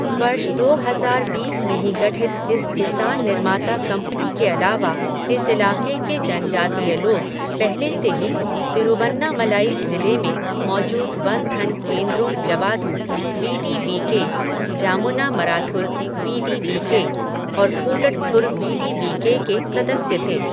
वर्ष दो हजार बीस में ही गठित इस किसान निर्माता कंपनी के अलावा, इस इलाके के जनजातीय लोग पहले से ही तिरुवन्नामलाई जिले में मौजूद वन धन केंद्रों Javadhu, V D V K, Jamunamarathur V D V K और Koottathur V D V K के सदस्य थे।